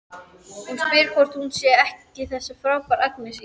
Hann spyr hvort hún sé ekki þessi frábæra Agnes í